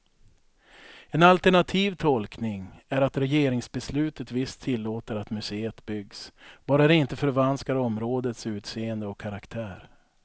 En alternativ tolkning är att regeringsbeslutet visst tillåter att museet byggs, bara det inte förvanskar områdets utseende och karaktär.